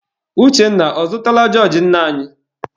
Uchenna, ọ zụtala jọọjị nne anyị?